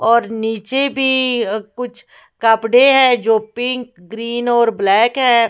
और नीचे भी कुछ कपड़े हैं जो पिंक ग्रीन और ब्लैक है।